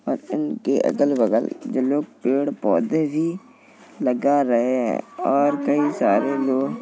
और इनके अगल-बगल जो लोग पेड़-पोधे भी लगा रहे हैं और कई सारे लोग --